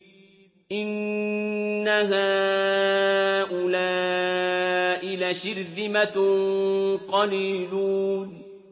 إِنَّ هَٰؤُلَاءِ لَشِرْذِمَةٌ قَلِيلُونَ